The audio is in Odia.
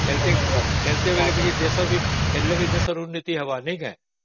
ଖେଳିଲେ ବି ଦେଶର ଉନ୍ନତି ହବ ନା ନାଇଁ କି